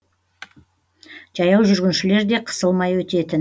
жаяу жүргіншілер де қысылмай өтетін